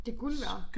Det guld værd